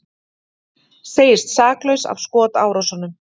Segist saklaus af skotárásunum